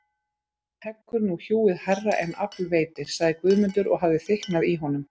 Heggur nú hjúið hærra en afl veitir, sagði Guðmundur og hafði þykknað í honum.